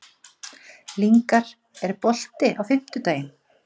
Lyngar, er bolti á fimmtudaginn?